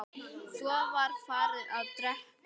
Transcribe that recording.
Svo var farið að drekka.